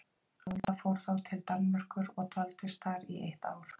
Alda fór þá til Danmerkur og dvaldist þar í eitt ár.